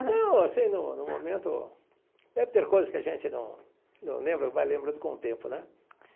Não, assim no no momento deve ter coisas que a gente não não lembra vai lembrando com o tempo, né?